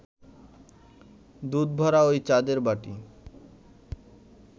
দুধভরা ঐ চাঁদের বাটি